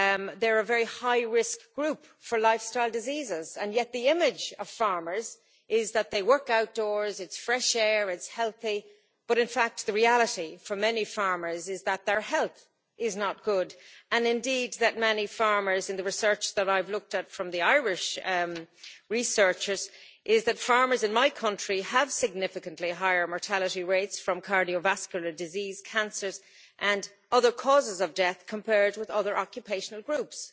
They are a very high risk group for lifestyle diseases and yet the image of farmers is that they work outdoors, it's fresh air and it's healthy, while in fact the reality for many farmers is that their health is not good and indeed in the research that I've looked at from the Irish researchers shows that farmers in my country have significantly higher mortality rates from cardiovascular disease, cancers and other causes of death compared with other occupational groups.